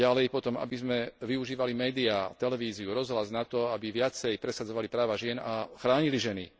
Potom, aby sme využívali médiá, televíziu, rozhlas na to, aby viacej presadzovali práva žien a chránili ženy.